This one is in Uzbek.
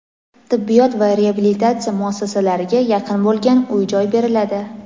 tibbiyot va reabilitatsiya muassasalariga yaqin bo‘lgan uy-joy beriladi.